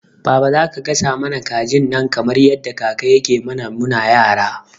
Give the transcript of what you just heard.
Baba zaka gasa mana kajin nan kamar yadda kaka yake mana muna yara?